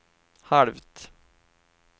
halvt